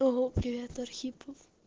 ого привет архипов